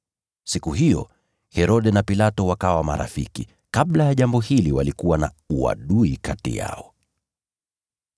Siku hiyo, Herode na Pilato wakawa marafiki; kabla ya jambo hili walikuwa na uadui kati yao.